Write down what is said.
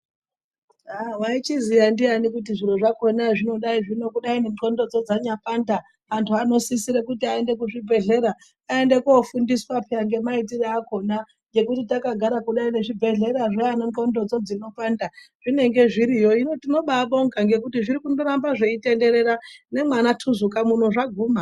Waizviziya ndiani kuti zviro zvinodai kudai nxondo dzanyapanda vantu vanosise kuti vaende kuzvibhehlera aende kofundiswa peya ngemaitire akhona ngekuti takagara kudai nezvibhehlera zvana nxondodzo dzinopanda zvinenge zviriyo. Hino tinoba kubonga ngekuti nemwana Tuzuka mwuno zvaguma.